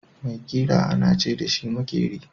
Mai ƙira ana ce dashi makeri.